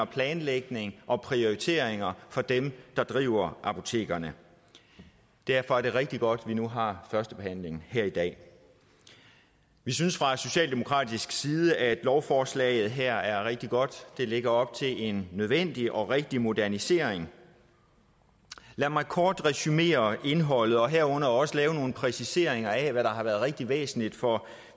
planlægning og prioritering for dem der driver apotekerne derfor er det rigtig godt at vi nu har første behandling her i dag vi synes fra socialdemokratisk side at lovforslaget her er rigtig godt det lægger op til en nødvendig og rigtig modernisering lad mig kort resumere indholdet og herunder også lave nogle præciseringer af hvad der har været rigtig væsentligt for